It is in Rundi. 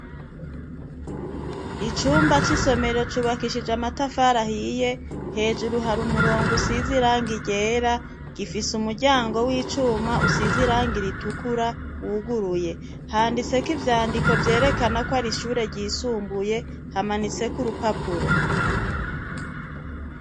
Icumba c'isomero cubakishije amatafarahiye hejuru hari umurongo usiziranga igera gifise umuryango w'icuma usiziranga iritukura wuguruye handitseko ivyandiko vyerekana ko ari ishure ryisumbuye hamanitseko urupapuro.